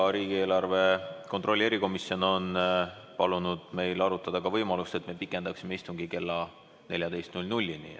Riigieelarve kontrolli erikomisjon on palunud meil arutada ka võimalust, et me pikendaksime istungit kella 14‑ni.